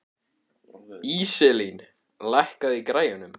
Íselín, lækkaðu í græjunum.